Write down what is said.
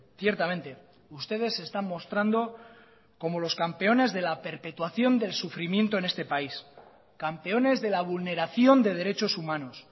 ciertamente ustedes se están mostrando como los campeones de la perpetuación del sufrimiento en este país campeones de la vulneración de derechos humanos